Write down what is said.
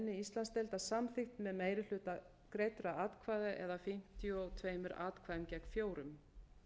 íslandsdeildar samþykkt með meiri hluta greiddra atkvæða eða fimmtíu og tveimur atkvæðum gegn fjórum